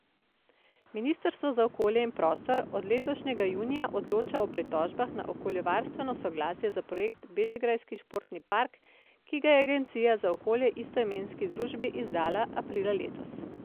Ministrstvo za okolje in prostor od letošnjega junija odloča o pritožbah na okoljevarstveno soglasje za projekt Bežigrajski športni park, ki ga je agencija za okolje istoimenski družbi izdala aprila letos.